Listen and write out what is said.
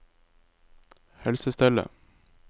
helsestellet